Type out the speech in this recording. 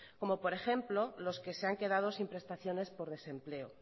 como por ejemplo los que se han quedado sin prestaciones por desempleo